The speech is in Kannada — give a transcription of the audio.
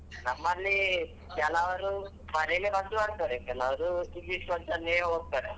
ನಮ್ಮಲ್ಲಿ ಕೆಲವ್ರು ಮನೆಲ್ಲೇ ಮದ್ದು ಮಾಡ್ತಾರೆ ಕೆಲವ್ರು English ಮದ್ದಲ್ಲೇ ಹೋಗ್ತಾರೆ .